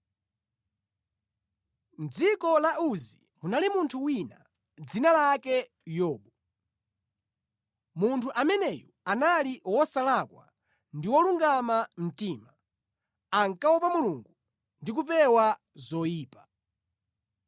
Mʼdziko la Uzi munali munthu wina, dzina lake Yobu. Munthu ameneyu anali wosalakwa ndi wolungama mtima, ankaopa Mulungu ndi kupewa zoyipa.